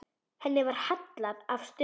Henni var hallað að stöfum.